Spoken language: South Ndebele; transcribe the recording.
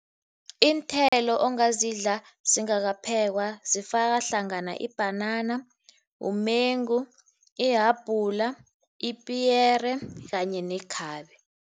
Iinthelo ongazidla zingakaphekwa zifaka hlangana ibhanana, umengu, ihabhula, ipiyere kanye nekhabe.